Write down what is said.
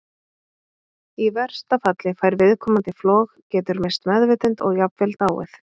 Í versta falli fær viðkomandi flog, getur misst meðvitund og jafnvel dáið.